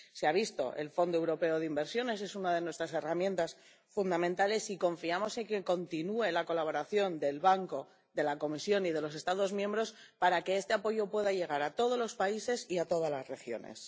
Se ha visto el Fondo Europeo de Inversiones es una de nuestras herramientas fundamentales y confiamos en que continúe la colaboración del Banco, de la Comisión y de los Estados miembros para que este apoyo pueda llegar a todos los países y a todas las regiones.